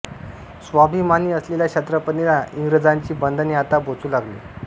स्वाभिमानी असलेल्या छत्रपतींना इंग्रजांची बंधने आता बोचू लागली